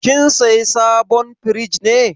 Kin saya sabon firij ne?